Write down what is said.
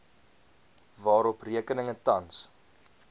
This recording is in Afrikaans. waarop rekeninge tans